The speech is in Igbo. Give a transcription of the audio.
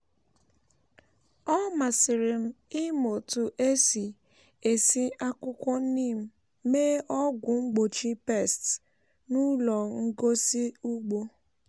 ọ masịrị m ịmụ otu esi esi akwukwo neem mee ọgwụ mgbochi pests n’ụlọ ngosi ugbo.